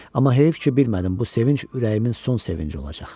Amma heyf ki, bilmədim bu sevinc ürəyimin son sevinci olacaq.